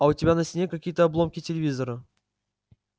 а у тебя на стене какие-то обломки телевизора